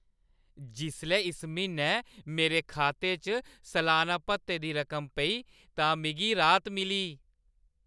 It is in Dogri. जिसलै इस म्हीनै मेरे खाते च सलान्ना भत्ते दी रकम पेई तां मिगी राहत मिली।